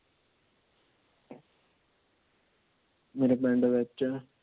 ਮੇਰੇ ਪਿੰਡ ਵਿੱਚ